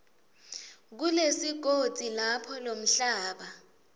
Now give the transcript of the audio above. kulesigodzi lapho lomhlaba